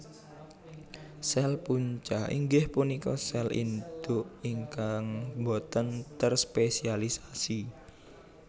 Sèl Punca inggih punika sèl induk ingkang botèn terspesialisasi